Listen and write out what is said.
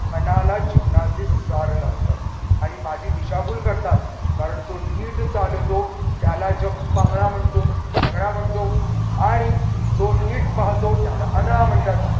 पणाला जीवनाचे सार लागतात आणि माझी दिशाभूल करतात कारण जो नीट चालतो त्याला जग पांगळा म्हणतो लंगडा म्हणतो आणि नीट पाहतो त्याला आंधळा म्हणतात.